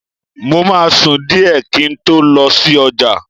Mo máa sùn díẹ̀ kí n tó lọ sí ọjà